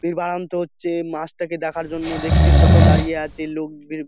পীরবারন্ত হচ্ছে মাছ টাকে দেখার জন্য দেখছি ছোট দাঁড়িয়ে আছে লোকভীর--